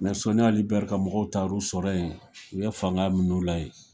Mɛ sɔni Ali bɛri ka mɔgɔw tar' u sɔrɔ yen, u ye fanga min'u la yen.0